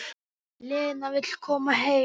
Lena vill koma heim.